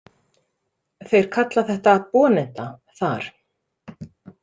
Þeir kalla þetta boneta þar